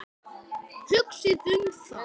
Hugsið um það.